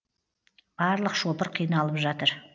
барлық шопыр қиналып жатыр